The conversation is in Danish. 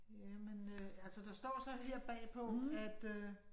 Jamen øh, altså der står så her bagpå at øh